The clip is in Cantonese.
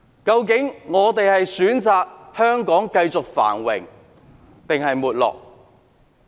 究竟大家會選擇讓香港繼續繁榮還是沒落？